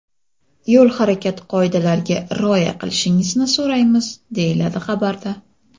Yo‘l harakati qoidalariga rioya qilishingizni so‘raymiz”, deyiladi xabarda.